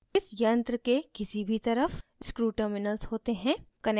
इस यंत्र के किसी भी तरफ screw terminals होते है